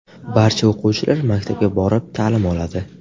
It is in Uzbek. Barcha o‘quvchilar maktabga borib, ta’lim oladi.